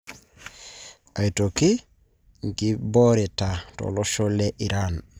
Aitoki nkiboreta tolosho le Iran.